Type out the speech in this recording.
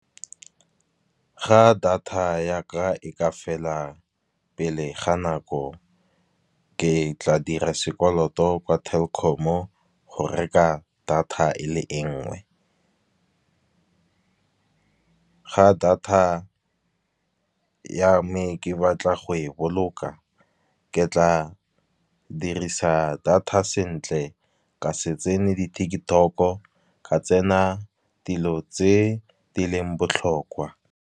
Ga data ya ka e ka fela pele ga nako, ke tla dira sekoloto kwa Telkom-o go reka data e le e nngwe. Ga data ya me ke batla go e boloka, ke tla dirisa data sentle ka se tsene di-TikTok-o ka tsena dilo tse di leng botlhokwa.